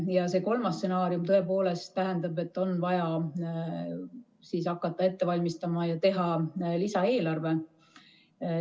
Ja see kolmas stsenaarium tõepoolest tähendab, et on vaja hakata ette valmistama lisaeelarvet ja see teha.